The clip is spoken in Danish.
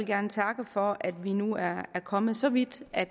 gerne takke for at vi nu er kommet så vidt at